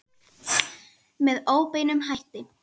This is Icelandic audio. Með óbeinum hætti.